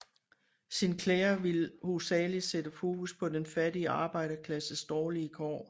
Sinclair ville hovedsagelig sætte fokus på den fattige arbejderklasses dårlige kår